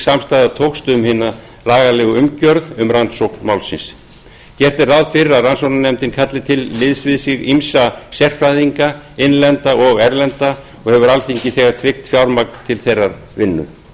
samstaða tókst um hina lagalegu umgjörð um rannsókn málsins gert er ráð fyrir að rannsóknarnefndin kalli til liðs við sig ýmsa sérfræðinga innlenda og erlenda og hefur alþingi þegar tryggt fjármagn til þeirrar vinnu